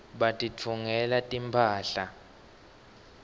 batitfungela timphahla